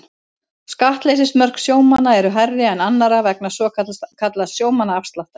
Skattleysismörk sjómanna eru hærri en annarra vegna svokallaðs sjómannaafsláttar.